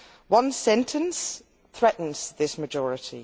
One sentence threatens that majority.